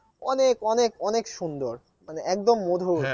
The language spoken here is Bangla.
অনেক অনেক অনেক সুন্দর মানে একদম মধুর